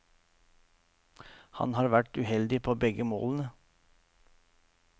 Han har vært uheldig på begge målene.